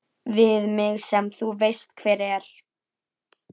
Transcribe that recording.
Við mig sem þú veist hver er.